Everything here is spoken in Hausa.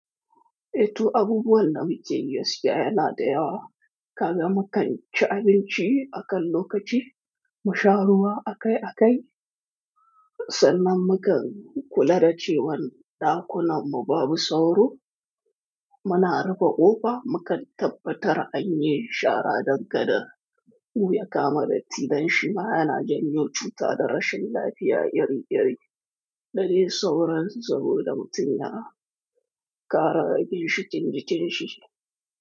Eh toh abubuwan da muke yi gaskiya yana da yawa. Kaga mukan ci abinci akan lokaci, mu sha ruwa akai akai, sannan mukan kula da cewan ɗakunan mu babu sauro. Muna rufe ƙofa, mukan tabbatar anyi shara dangane da wuya kama datti. Dan shi ma yana janyo cuta da rashin lafiya iri iri. Da dai sauran tsaro da mutum ya ƙara ginshiƙin jikin shi.